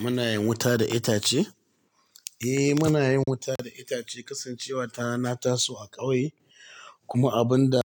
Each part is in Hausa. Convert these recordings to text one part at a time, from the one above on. Muna yin wuta da itace? Eh, muna yin wuta da itace kasancewa tana taso a ƙauye kuma abin da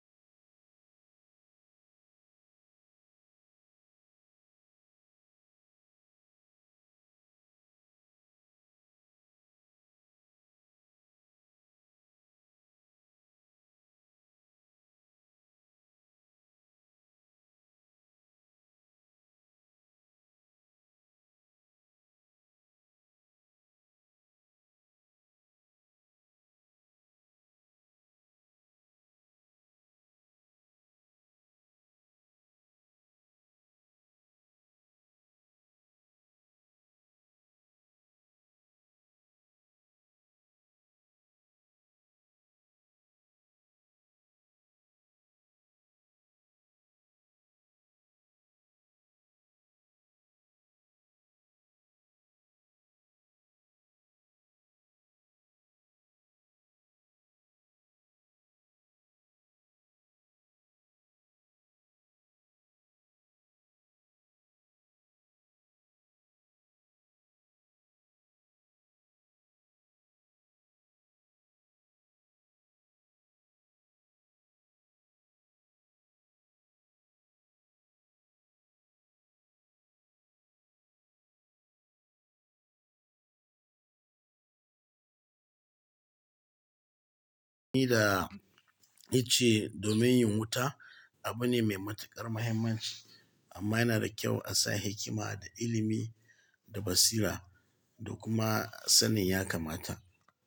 ni da ice domin yin wuta abu ne mai matuƙar mahimmanci amma yana da kyau a sa hikima da ilimi da basira da kuma sanin ya kamata.